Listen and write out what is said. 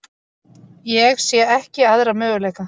Ég sé ekki aðra möguleika.